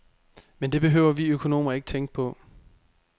Men det behøver vi økonomer ikke tænke på.